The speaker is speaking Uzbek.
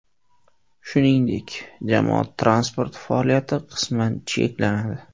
Shuningdek, jamoat transporti faoliyati qisman cheklanadi.